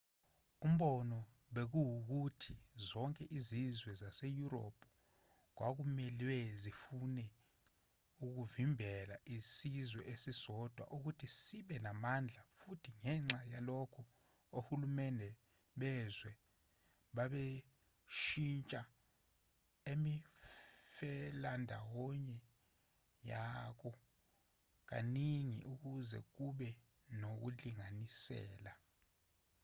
umbono bekuwukuthi zonke izizwe zaseyurophu kwakumelwe zifune ukuvimbela isizwe esisodwa ukuthi sibe namandla futhi ngenxa yalokho ohulumeni bezwe babeshintsha imifelandawonye yabo kaningi ukuze kube nokulinganisela